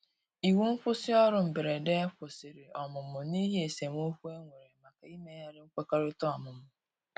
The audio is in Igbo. iwu nkwusi orụ mgberede kwụsìrì ọmụmụ n'ihi esemeokwụ enwere maka imeghari nkwekọrịta ọmụmụ